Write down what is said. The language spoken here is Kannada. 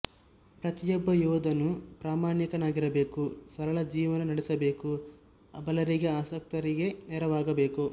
ಪ್ರತಿಯೊಬ್ಬ ಯೋಧನೂ ಪ್ರಮಾಣಿಕನಾಗಿರಬೇಕು ಸರಳ ಜೀವನ ನಡೆಸಬೇಕು ಅಬಲರಿಗೆ ಅಶಕ್ತರಿಗೆ ನೆರವಾಗಬೇಕು